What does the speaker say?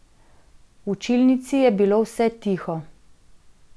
V učilnici je bilo vse tiho.